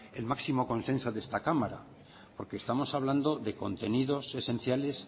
el máximo consenso de esta cámara porque estamos hablando de contenidos esenciales